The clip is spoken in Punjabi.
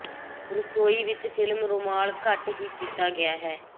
ਰਸੋਈ ਵਿੱਚ ਫਿਲਮ ਰੁਮਾਲ ਘੱਟ ਹੀ ਕੀਤਾ ਗਿਆ ਹੈ